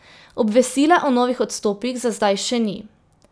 Obvestila o novih odstopih za zdaj še ni.